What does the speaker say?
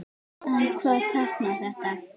En hvað táknar þetta?